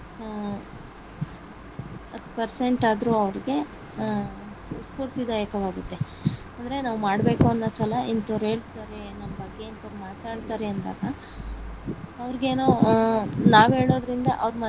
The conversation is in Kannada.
ಹ್ಮ್ ಹತ್ತ್ Percent ಆದ್ರೂ ಅವರಿಗೆ ಸ್ಪೂರ್ತಿದಾಯಕವಾಗುತ್ತೆ ಅಂದ್ರೆ ನಾವ್ ಮಾಡ್ಬೇಕು ಅನ್ನೊ ಛಲ ಇಂತವರು ಹೇಳ್ತಾರೆ ನಮ್ಮ ಬಗ್ಗೆ ಇಂತವರು ಮಾತಾಡ್ತಾರೆ ಅಂದಾಗ ಅವರ್ಗೇನೋ ನಾವ್ ಹೇಳೋದರಿಂದ ಅವ್ರ.